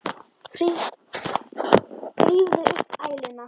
Þrífðu upp æluna.